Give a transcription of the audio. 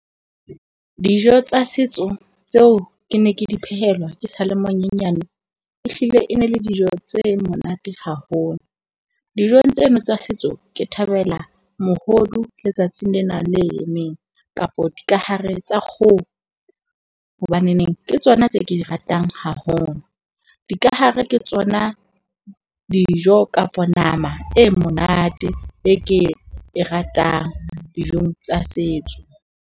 Dijo tsa setso tseo ke ne ke di phehelwa ke sale monyenyane ehlile e ne le dijo tse monate haholo. Dijong tseno tsa setso ke thabela mohodu letsatsing lena le emeng kapo dikahare tsa kgoho hobaneneng ke tsona tse ke di ratang haholo. Dikahare ke tsona dijo kapa nama e monate e ke e ratang dijong tsa setso.